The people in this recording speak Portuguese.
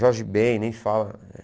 Jorge Bem, nem fala.